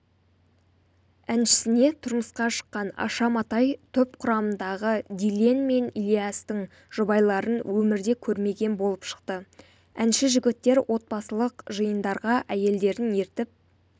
әншісіне тұрмысқа шыққан аша матай топ құрамындағы дильен мен ильястың жұбайларын өмірде көрмеген болып шықты әнші жігіттер отбасылық жиындарға әйелдерін ертіп